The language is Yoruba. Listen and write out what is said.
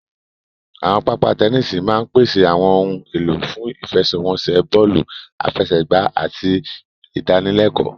Àwọn pápá tẹníìsì máa ń pèsè àwọn ohun èlò fún ìfẹsẹ̀wọnsẹ̀ bọ́ọ̀lù àfẹsẹ̀gbá àti ìdánilẹ́kọ̀ọ